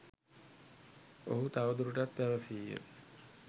ඔහු තවදුරටත් පැවසීය.